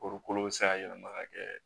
Korokolo bɛ se ka yɛlɛma ka kɛ